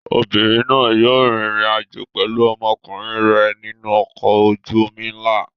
Obìnrin náà yóò rìnrìn-àjò pẹ̀lú ọmọkùnrin rẹ̀ nínú ọkọ̀ ojú-omi ńlá.